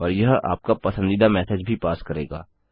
और यह आपका पसंदीदा मेसेज भी पास करेगा